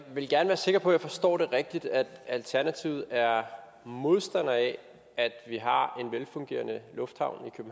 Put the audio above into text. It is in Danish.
vil gerne være sikker på at jeg forstår det rigtigt at alternativet er modstander af at vi har en velfungerende lufthavn i